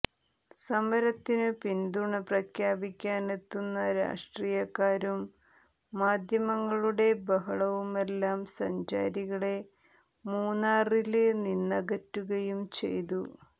സമരത്തിനു പിന്തുണ പ്രഖ്യാപിക്കാനെത്തുന്ന രാഷ്ട്രീയക്കാരും മാധ്യമങ്ങളുടെ ബഹളവുമെല്ലാം സഞ്ചാരികളെ മൂന്നാറില് നിന്നകറ്റുകയും ചെയ്തു